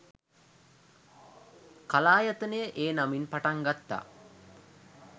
කලායතනය ඒ නමින් පටන් ගත්තා